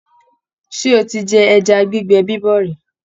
Ṣé o ti jẹ ẹja gbígbẹ bíbọ̀ rí?